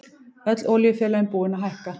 Öll olíufélögin búin að hækka